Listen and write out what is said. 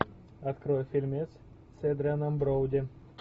открой фильмец с эдрианом броуди